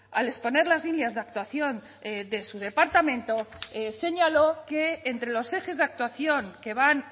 al exponer las líneas de actuación de su departamento señaló que entre los ejes de actuación que van